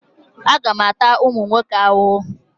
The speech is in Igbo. Aga m ata ụmụ nwoke ahụhụ?